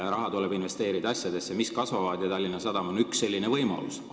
" Raha tuleb investeerida asjadesse, mis kasvavad, ja Tallinna Sadam on üks selline võimalus.